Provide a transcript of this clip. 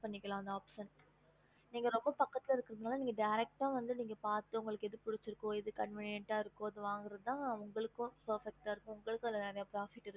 okey mam